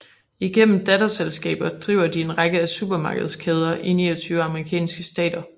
Igennem datterselskaber driver de en række af supermarkedskæder i 29 amerikanske stater